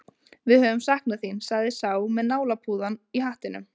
Við höfum saknað þín, sagði sá með nálapúðann í hattinum.